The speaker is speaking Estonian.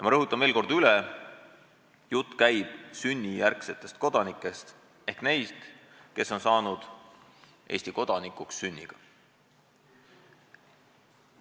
Ma rõhutan veel kord: jutt käib sünnijärgsetest kodanikest ehk neist, kes on saanud Eesti kodanikuks sünniga.